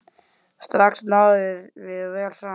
Strax náðum við vel saman.